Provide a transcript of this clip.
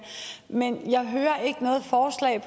men jeg hører ikke noget forslag